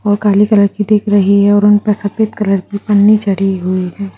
और काली कलर की देख रही है और उनपे सफेद कलर की पन्नी चढ़ी हुई है।